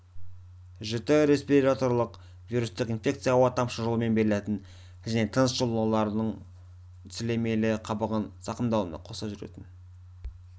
жіті респираторлық вирустық инфекция ауа-тамшы жолымен берілетін және тыныс алу жолдарының сілемейлі қабығын зақымдаумен қоса жүретін